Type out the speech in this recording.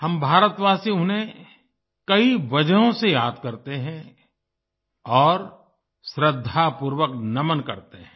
हम भारतवासी उन्हें कई वजहों से याद करते हैं और श्रद्धापूर्वक नमन करते हैं